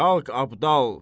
Qalx Abdal.